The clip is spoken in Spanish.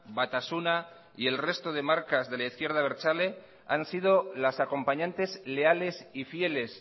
batasuna y el resto de marcas de la izquierda abertzale han sido las acompañantes leales y fieles